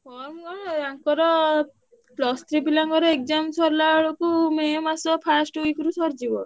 ଆଙ୍କର plus three ପିଲା ଙ୍କର exam ସରିଲା ବେଳକୁ ମେ ମାସ first week ରେ ସରିଯିବ।